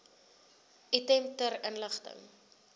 item ter inligting